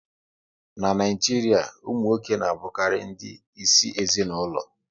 N'Naijiria, ụmụ nwoke na abukari ndị isi ezinaụlọ